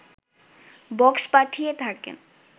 box পাঠিয়ে থাকেন